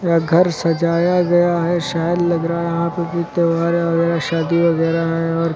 यह घर सजाया गया है। शायद लग रहा है यहां पर कुछ त्यौहार वगैरा शादी वगैरा है और --